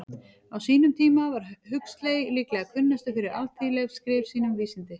Á sínum tíma var Huxley líklega kunnastur fyrir alþýðleg skrif sín um vísindi.